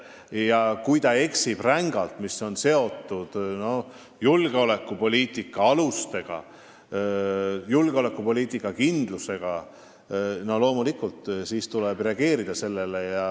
Ja kui ta eksib rängalt asjas, mis on seotud julgeolekupoliitika alustega, julgeolekupoliitika kindlusega, siis tuleb sellele loomulikult reageerida.